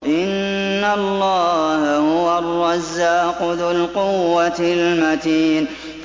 إِنَّ اللَّهَ هُوَ الرَّزَّاقُ ذُو الْقُوَّةِ الْمَتِينُ